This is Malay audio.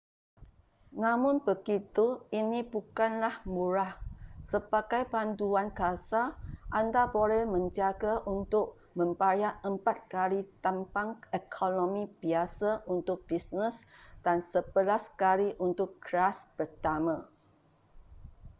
namun begitu ini bukanlah murah sebagai panduan kasar anda boleh menjangka untuk membayar empat kali tambang ekonomi biasa untuk bisnes dan sebelas kali untuk kelas pertama